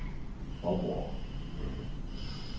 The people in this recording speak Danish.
Faaborg